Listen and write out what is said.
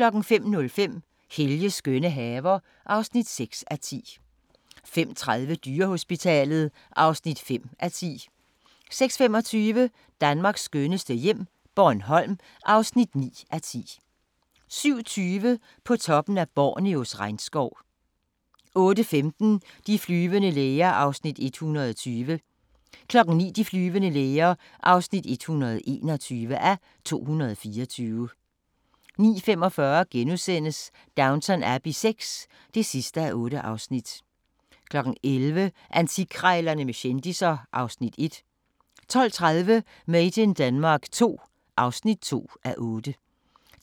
05:05: Helges skønne haver (6:10) 05:30: Dyrehospitalet (5:10) 06:25: Danmarks skønneste hjem - Bornholm (9:10) 07:20: På toppen af Borneos regnskov 08:15: De flyvende læger (120:224) 09:00: De flyvende læger (121:224) 09:45: Downton Abbey VI (8:8)* 11:00: Antikkrejlerne med kendisser (Afs. 1) 12:30: Made in Denmark II (2:8)